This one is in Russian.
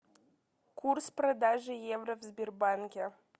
курс продажи евро в сбербанке